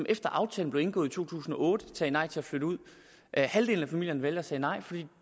efter at aftalen blev indgået i to tusind og otte sagde nej til at flytte ud halvdelen af familierne valgte at sige nej fordi